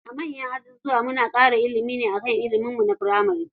A manyan ajujuwa kawai muna ɗan kara ilimi ne akan ilimin mu na firamari.